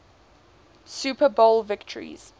super bowl victories